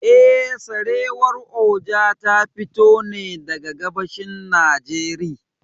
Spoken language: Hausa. Eh, Sarewar Oja ta fito ne daga gabashin Najeriy.